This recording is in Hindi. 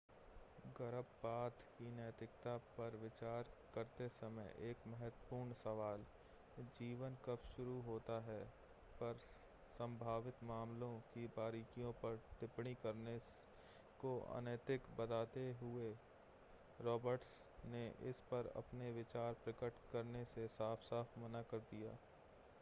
गर्भपात की नैतिकता पर विचार करते समय एक महत्वपूर्ण सवाल जीवन कब शुरू होता है पर संभावित मामलों की बारीकियों पर टिप्पणी करने को अनैतिक बताते हुए रॉबर्ट्स ने इस पर अपने विचार प्रकट करने से साफ़-साफ़ मना कर दिया